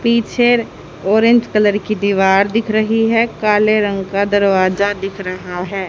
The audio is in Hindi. पीछे ऑरेंज कलर की दीवार दिख रही है काले रंग का दरवाजा दिख रहा है।